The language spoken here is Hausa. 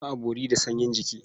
Ba a bori da sanyin jiki.